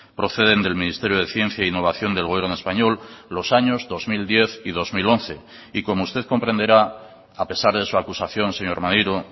proceden del ministerio de ciencia e innovación del gobierno español los años dos mil diez y dos mil once y como usted comprenderá a pesar de su acusación señor maneiro